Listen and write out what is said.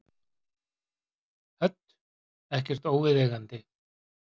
Hödd: Ekkert óviðeigandi?